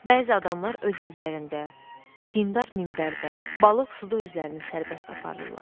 Bəzi adamlar öz evlərində, dindar minbərdə, balıq suda özlərini sərbəst aparırlar.